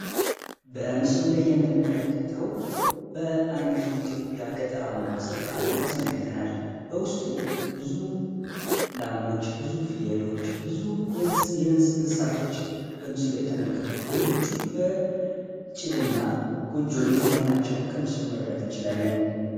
በምስሉ ላይ የምንመለከተው በአንድ የኢትዮጵያ ገጠር አማራ ስፍራ ያስመለከተናል በውስጡ ብዙዎች ብዙ ፍየሎች ብዙ የእስ እንስሳቶች በምስሉ ተመልክቷል ቤቶቹ በጭድና ጎጆ ቤት መሆናቸውን ምስሉ መረዳት እንችላለን